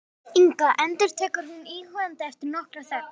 Inga, endurtekur hún íhugandi eftir nokkra þögn.